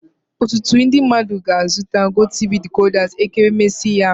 Ọtụtụ ndị mmadụ ga-azụta GOTV decoders ekeresimesi ya.